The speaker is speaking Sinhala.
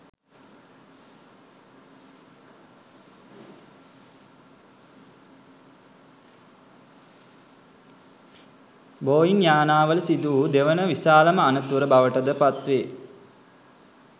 බෝයිංයානාවල සිදුවූ දෙවන විශාලම අනතුර බවටද පත්වේ